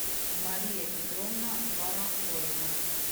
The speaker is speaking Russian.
мария петровна барахоева